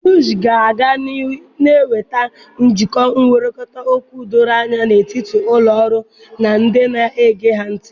Broshọ ga-aga n'ihu na-ewepụta njikọ nkwurịta okwu doro anya n'etiti ụlọ ọrụ na ndị na-ege ha ntị.